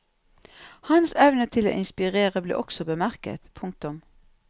Hans evne til å inspirere ble også bemerket. punktum